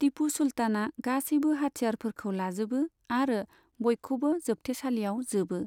टिपु सुलताना गासैबो हाथियारफोरखौ लाजोबो आरो बइखौबो जोबथेसालियाव जोबो।